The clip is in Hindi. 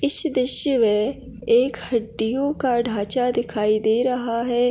इस दृश्य में एक हड्डियों का ढांचा दिखाई दे रहा है।